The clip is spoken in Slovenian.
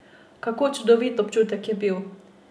Kako čudovit občutek je to bil!